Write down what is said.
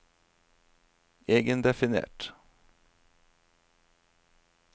egendefinert